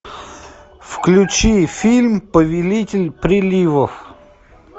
включи фильм повелитель приливов